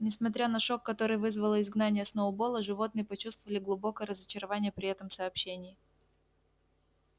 несмотря на шок который вызвало изгнание сноуболла животные почувствовали глубокое разочарование при этом сообщении